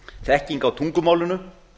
þekking á tungumálinu